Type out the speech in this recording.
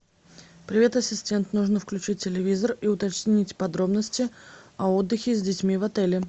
привет ассистент нужно включить телевизор и уточнить подробности о отдыхе с детьми в отеле